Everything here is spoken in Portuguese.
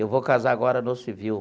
Eu vou casar agora no civil.